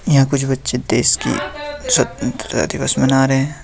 यहां कुछ बच्चे देश की स्वतंत्रता दिवस मना रहे हैं।